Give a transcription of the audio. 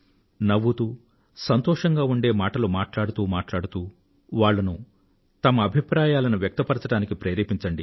నవ్వుతూ సంతోషంగా ఉండే మాటలు మాట్లాడుతూ మాట్లాడుతూ వాళ్ళను తమ అభిప్రాయాలను వ్యక్తపరచడానికి ప్రేరేపించండి